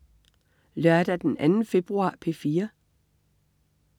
Lørdag den 2. februar - P4: